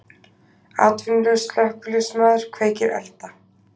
Atvinnulaus slökkviliðsmaður kveikir elda